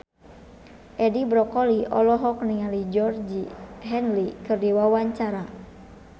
Edi Brokoli olohok ningali Georgie Henley keur diwawancara